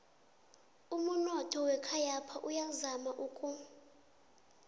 umunotho wekhayapha uyazama uku